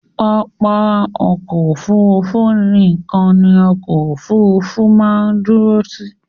Pápá ọkọ̀ Òfurufú nìkan ni ọkọ òfurufú máa ń dúró sí.